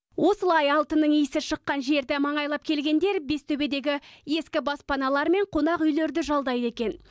осылай алтынның иісі шыққан жерді маңайлап келгендер бестөбедегі ескі баспаналар мен қонақүйлерді жалдайды екен